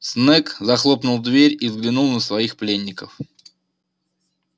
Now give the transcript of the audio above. снегг захлопнул дверь и взглянул на своих пленников